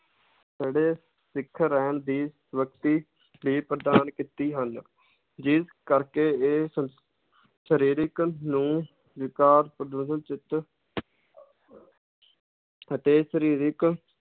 ਸਿੱਖ ਰਹਿਣ ਦੀ ਲਈ ਪ੍ਰਦਾਨ ਕੀਤੀ ਹਨ ਜਿਸ ਕਰਕੇ ਇਹ ਸ਼~ ਸ਼ਰੀਰਿਕ ਨੂੰ ਪ੍ਰਦੂਸ਼ਣ ਚਿੱਤ ਅਤੇ ਸ਼ਰੀਰਿਕ